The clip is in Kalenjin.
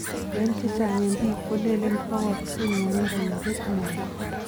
En chechang en pik kolelene posoksei ngwonindo yepet moet.